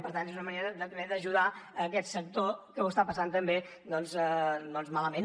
per tant és una manera d’ajudar aquest sector que ho està passant també malament